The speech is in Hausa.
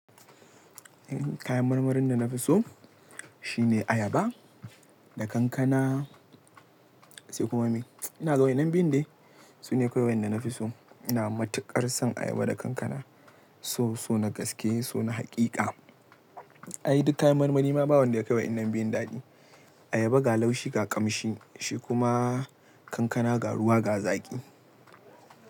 Kayan marmarin da na fi so shine ayaba da kankana sai kuma me. Ina ga wa yannan biyun de, sune kawai wanda na fi so. Ina matuƙar son ayaba da kankana. So, so na gaske, so na haƙiƙa. Ai duk kayan marmari ma ba wanda yakai wa'innan biyun daɗi. Ayaba ga laushi ga ƙamshi, shi kuma kankana ga ruwa ga zaƙi.